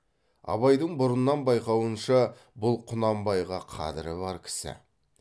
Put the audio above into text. абайдың бұрыннан байқауынша бұл құнанбайға қадірі бар кісі